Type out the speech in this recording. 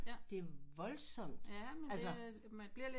Det er voldsomt altså